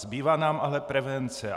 Zbývá nám ale prevence.